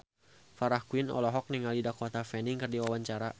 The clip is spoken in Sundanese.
Farah Quinn olohok ningali Dakota Fanning keur diwawancara